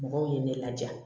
Mɔgɔw ye ne laja